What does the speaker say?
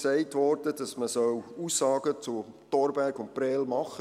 Dann wurde auch gesagt, man solle Aussagen zum Thorberg und zu Prêles machen.